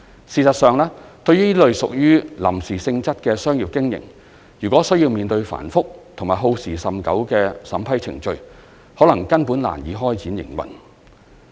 事實上，對於這類屬於臨時性質的商業經營，如果需要面對繁複及耗時甚久的審批程序，可能根本難以開展營運。